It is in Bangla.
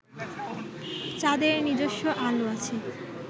চাঁদের নিজস্ব আলো আছে